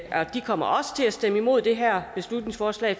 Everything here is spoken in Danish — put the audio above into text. de kommer også til at stemme imod det her beslutningsforslag